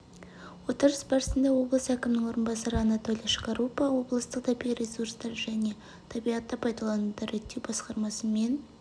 отырыс басында облыс әкімінің орынбасары анатолий шкарупа облыстық табиғи ресурстар және табиғатты пайдалануды реттеу басқармасы мен